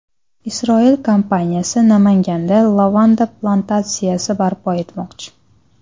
Isroil kompaniyasi Namanganda lavanda plantatsiyasi barpo etmoqchi.